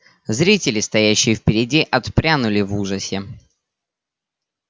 зрители стоящие впереди отпрянули в ужасе